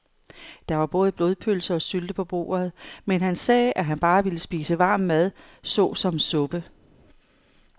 Der var både blodpølse og sylte på bordet, men han sagde, at han bare ville spise varm mad såsom suppe.